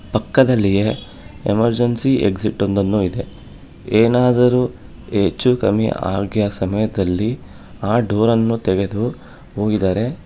ಪಕ್ಕದಲ್ಲಿಯೇ emergency exit ಒಂದನ್ನು ಇದೆ ಏನಾದರೂ ಹೆಚ್ಚು ಕಮ್ಮಿ ಆಗಿಯಾ ಸಮಯದಲ್ಲಿ ಆ ಡೋರನ್ನು ತೆಗೆದು ಹೋಗಿದರೆ --